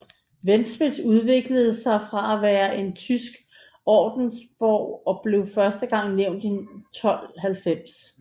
Ventspils udviklede sig fra at være en tysk ordensborg og blev første gang nævnt i 1290